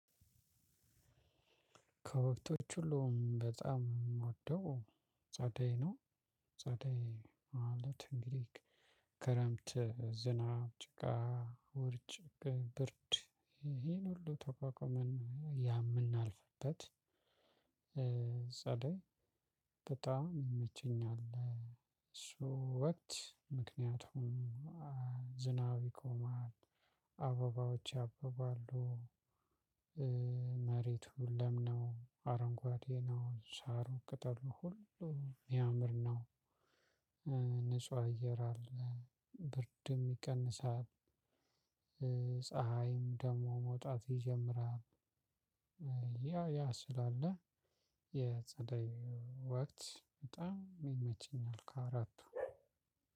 ከወቅቶች ሁሉ በጣም እምወደው ጸደይ ነው። ጸደይ ማለት እንግዲህ ከረምት ዝናብ ጭቃ ወርጭ ብርድ ይሄን ሁሉ ተቋቋመን የምናልፍበት ጸዳይ በጣም ይመቸኛል። እሱ ወቅት ምክንያቱም ዝናብ ይቆማል አበባዎች ያበባሉ። መሬቱ ለም ነው አረንጓዴ ነው ሳሩ ቅጠሉ ሁሉ በሚያምር ነው። ንጹህ አየር አለ ብርድም ይቀንሳል። ፀሀይም ደግሞ መውጣት ይጀምራል። ያ ያ ስላለ የፀደይ ወቅት በጣም ይመቸኛል ከአራቱ